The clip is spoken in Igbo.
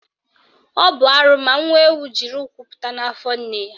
Ọ bụ arụ ma nwa ewu jiri ụkwụ pụta n'afọ nne ya